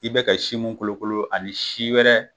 I bɛ ka si min kolokolo ani si wɛrɛ